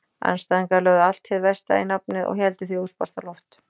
Andstæðingarnir lögðu allt hið versta í nafnið og héldu því óspart á loft.